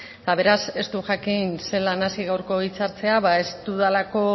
eta beraz ez dut jakin zelan hasi gaurko hitzartzea ez dudalako